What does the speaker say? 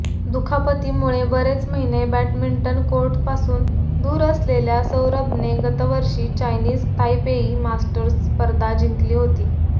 दुखापतीमुळे बरेच महिने बॅडमिंटन कोर्टपासून दूर असलेल्या सौरभने गतवर्षी चायनीज तायपेई मास्टर्स स्पर्धा जिंकली होती